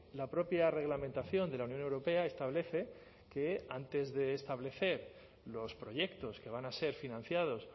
la propia reglamentación de la unión europea establece que antes de establecer los proyectos que van a ser financiados